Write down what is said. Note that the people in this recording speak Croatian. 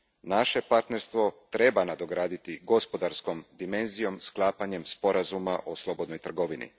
Naše partnerstvo treba nadograditi gospodarskom dimenzijom sklapanjem sporazuma o slobodnoj trgovini.